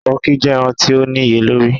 Tọki jẹ ẹran ti o niyelori